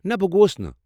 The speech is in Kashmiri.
نہ، بہٕ گووُس نہٕ۔